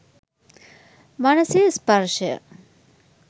මනසේ ස්පර්ශය